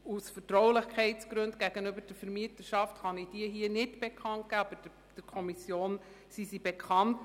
Aus Gründen der Vertraulichkeit gegenüber der Vermieterschaft, kann ich diese hier nicht bekannt geben, aber der Kommission sind sie bekannt.